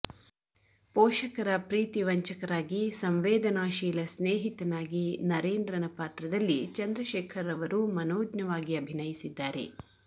ಪೋಷಕರ ಪ್ರೀತಿ ವಂಚಕರಾಗಿ ಸಂವೇದನಾಶೀಲ ಸ್ನೇಹಿತನಾಗಿ ನರೇಂದ್ರನ ಪಾತ್ರದಲ್ಲಿ ಚಂದ್ರಶೇಖರ್ರವರು ಮನೋಜ್ಞವಾಗಿ ಅಭಿನಯಿಸಿದ್ದಾರೆ